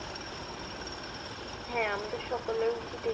হ্যা আমাদের সকলেরই উচিত এই